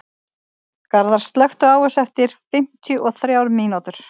Garðar, slökktu á þessu eftir fimmtíu og þrjár mínútur.